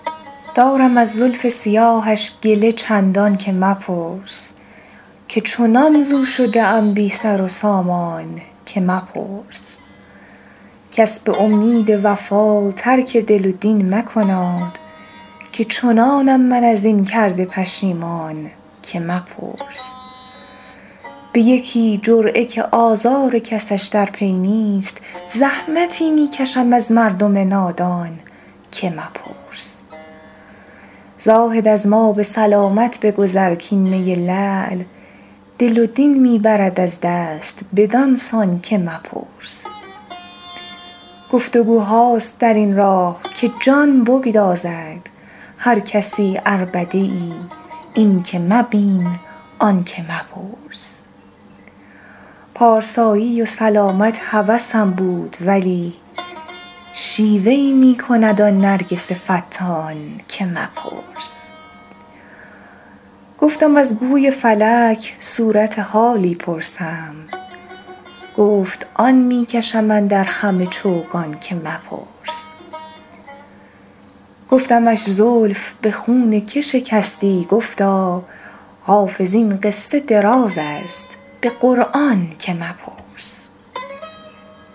دارم از زلف سیاهش گله چندان که مپرس که چنان ز او شده ام بی سر و سامان که مپرس کس به امید وفا ترک دل و دین مکناد که چنانم من از این کرده پشیمان که مپرس به یکی جرعه که آزار کسش در پی نیست زحمتی می کشم از مردم نادان که مپرس زاهد از ما به سلامت بگذر کـ این می لعل دل و دین می برد از دست بدان سان که مپرس گفت وگوهاست در این راه که جان بگدازد هر کسی عربده ای این که مبین آن که مپرس پارسایی و سلامت هوسم بود ولی شیوه ای می کند آن نرگس فتان که مپرس گفتم از گوی فلک صورت حالی پرسم گفت آن می کشم اندر خم چوگان که مپرس گفتمش زلف به خون که شکستی گفتا حافظ این قصه دراز است به قرآن که مپرس